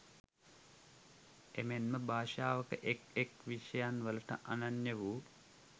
එමෙන්ම භාෂාවක එක් එක් විෂයන්වලට අනන්‍ය වූ